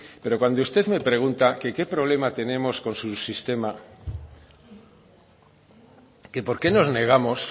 pero cuando usted me pregunta que qué problema tenemos con su sistema que porqué nos negamos